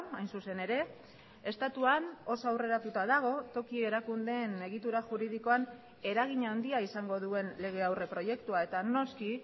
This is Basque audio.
hain zuzen ere estatuan oso aurreratuta dago toki erakundeen egitura juridikoan eragin handia izango duen lege aurreproiektua eta noski